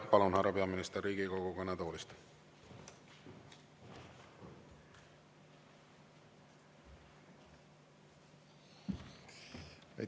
Jah, palun, härra peaminister, Riigikogu kõnetoolist!